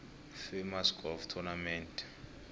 famous golf tournament